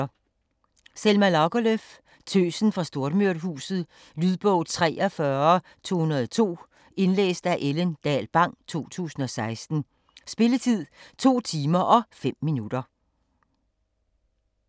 Lagerlöf, Selma: Tøsen fra Stormyrhuset Lydbog 43202 Indlæst af Ellen Dahl Bang, 2016. Spilletid: 2 timer, 5 minutter.